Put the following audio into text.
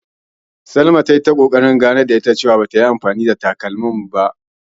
Salama ta yi ta ƙoƙarin ta ganar da ita cewa, ba ta yi anfani da takalmanta ba sanda bata nan.